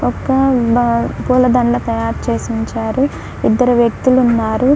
ఒక బ-పూల దండ తయారుచేసి ఉంచారు. ఇద్దరు వ్యక్తులున్నారు.